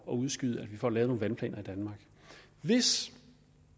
udskyde at vi får lavet nogle vandplaner i danmark hvis